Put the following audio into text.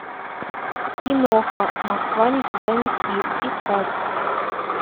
киноха москва никогда не спит искать